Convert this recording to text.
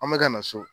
An bɛ ka na so